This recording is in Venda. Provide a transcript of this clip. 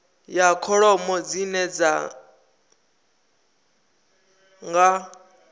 ya kholomo dzine dzi nga